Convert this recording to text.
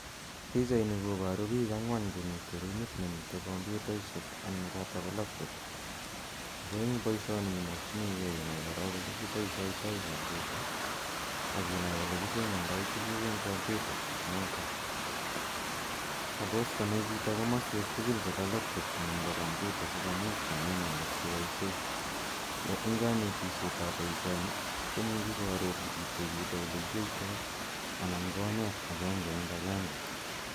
Pichaini koparu pik ang'wan che mitei rumit ne mitei kompyutaishek anan chotok ko laptop ako eng' poishoni imakchinigei korok inai ole kipoishaitai kompyuta ak inai ole kisomandai tuguk eng' kompyutainotok. Suppose chito komaswek tugul chepo kompyuta asikomuch konai inendet kopoishe. Eng' kanetishet ap poishoni, ko muchi ki arorchi kityo chito ole kiyaitai anqn konet agenge eng' agenge.